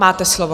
Máte slovo.